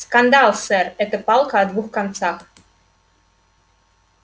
скандал сэр это палка о двух концах